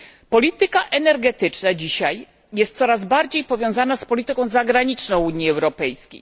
Polityka energetyczna jest dzisiaj coraz bardziej powiązana z polityką zagraniczną Unii Europejskiej.